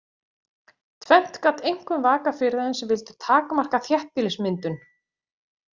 Tvennt gat einkum vakað fyrir þeim sem vildu takmarka þéttbýlismyndun.